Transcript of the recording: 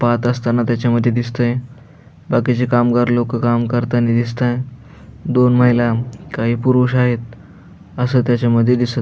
पाहत असताना त्याच्यामधी दिसतंय बाकीची कामगार लोक काम करतानी दिसतंय दोन माहिला काही पुरुष आहेत अस त्याच्यामधी दिस --